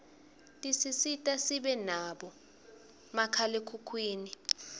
tisisita sibe nabo makhalekhukhwini